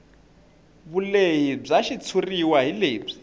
vulehi bya xitshuriwa hi lebyi